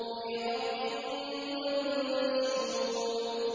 فِي رَقٍّ مَّنشُورٍ